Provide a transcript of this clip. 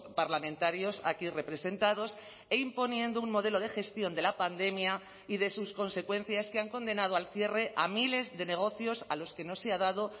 parlamentarios aquí representados e imponiendo un modelo de gestión de la pandemia y de sus consecuencias que han condenado al cierre a miles de negocios a los que no se ha dado